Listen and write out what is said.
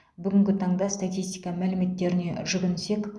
бүгінгі таңда статистика мәліметтеріне жүгінсек